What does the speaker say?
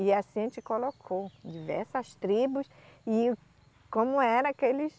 E assim a gente colocou diversas tribos e como era que eles...